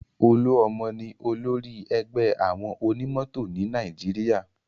Olúọmọ ni olórí ẹgbẹ́ àwọn onímọ̀tò ni Nàìjíríà